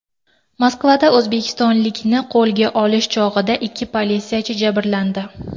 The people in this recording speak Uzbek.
Moskvada o‘zbekistonlikni qo‘lga olish chog‘ida ikki politsiyachi jabrlandi.